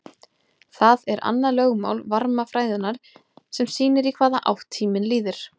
Það er annað lögmál varmafræðinnar sem sýnir í hvaða átt tíminn líður.